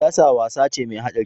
Siyasa wasa ce mai haɗari.